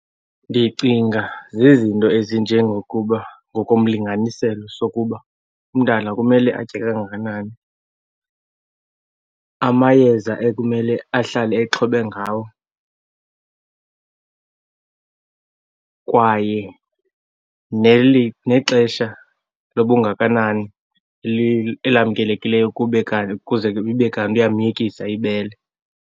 Ndicinga zizinto ezinjengokuba, ngokomlinganiselo sokuba umntana kumele atye kangakanani, amayeza ekumele ahlale exhobe ngawo, kwaye nexesha lobungakanani elamkelekileyo kuze ibe kanti uyamyekisa ibele.